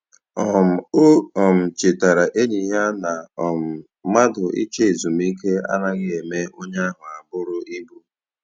um O um chetara enyi ya na um mmadụ ịchọ ezumike anaghị eme onye ahụ abụrụ ibu.